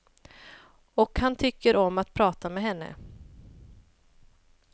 Och han tycker om att prata med henne.